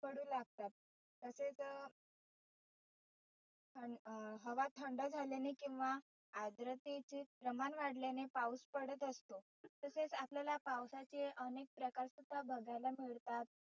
पडु लागतात. तसेच थ हवा थंड झाल्याने किंवा आद्रतेचे प्रमाण वाढल्याने पाऊस पडत असतो. तसेच आपल्याला पावसाचे आनेक प्रकार सुद्धा बघायला मिळतात.